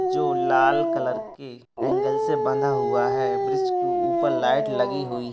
जो लाल कलर के एंगल से बंधा हुआ है ब्रिज के ऊपर लाइट लगी हुई --